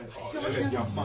Əvət, elə yapmaz.